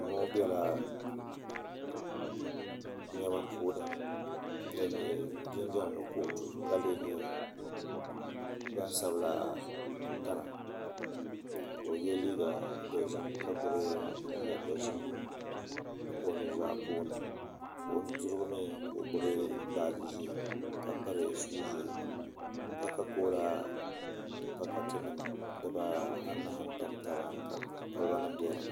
Doo ŋɔ bɛla nɛma puuni dini yɛ jinjam ni kootu ka lɛɛyɛ gbansabila tana ka o yiɛ liiga dozim ka gbubi liiga dozim o nu zaa puuni ka o nu dirigu mi ka o gbubi baaji zɛɛ ka piri shuu zɛɛ kakakola pakati nima anahi n tamtaba ka koliba nim bɛ di ni.